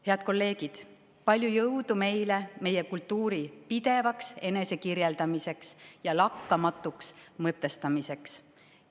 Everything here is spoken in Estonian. Head kolleegid, palju jõudu meile meie kultuuri pidevaks enesekirjeldamiseks ja lakkamatuks mõtestamiseks!